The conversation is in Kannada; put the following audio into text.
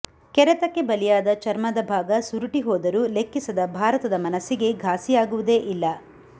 ಕೆರೆತಕ್ಕೆ ಬಲಿಯಾದ ಚರ್ಮದ ಭಾಗ ಸುರುಟಿ ಹೋದರೂ ಲೆಕ್ಕಿಸದ ಭಾರತದ ಮನಸ್ಸಿಗೆ ಘಾಸಿಯಾಗುವುದೇ ಇಲ್ಲ